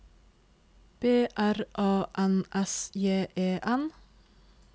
B R A N S J E N